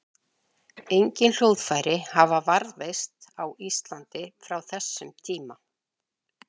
Engin hljóðfæri hafa varðveist á Íslandi frá þessum tíma.